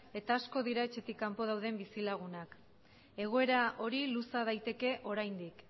eta asko dira etxetik kanpo dauden bizilagunak egoera hori luza daiteke oraindik